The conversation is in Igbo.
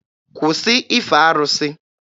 Kwụsị ife arụsị!